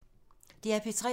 DR P3